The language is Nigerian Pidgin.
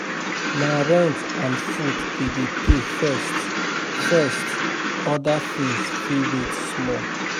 Na rent and food we dey pay first, first, oda tins fit wait small.